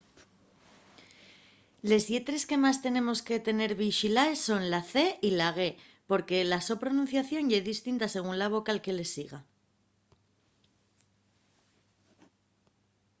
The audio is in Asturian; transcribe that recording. les lletres que más tenemos que tener vixilaes son la c y la g porque la so pronunciación ye distinta según la vocal que les siga